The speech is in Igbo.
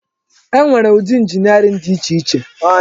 E nwere ụdị injiniarin dị iche iche.